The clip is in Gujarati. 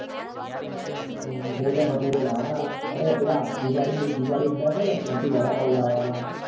છોલે ભટુરે લાવવા ના અરે પેલા જુગાડી જુગાડી અડ્ડા છે ને ત્યાં થી વડાપાવ લાવવા નાં એ તો